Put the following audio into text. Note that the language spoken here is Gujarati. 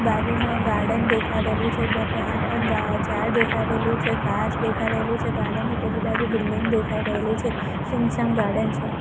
બાજુમાં ગાર્ડન દેખાડેલુ છે ત્યાં પણ ઝાડ દેખાડેલું છે ઘાસ દેખાડેલું છે ગાર્ડન ની પેલી બાજુ બિલ્ડિંગ દેખાય રહેલી છે સૂમસામ ગાર્ડન છે.